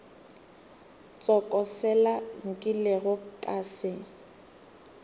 tsoko sela nkilego ka se